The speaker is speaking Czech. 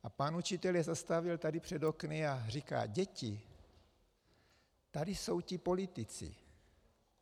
A pan učitel je zastavil tady před okny a říká: Děti, tady jsou ti politici.